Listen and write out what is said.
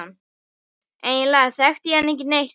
Eiginlega þekkti ég hann ekki neitt.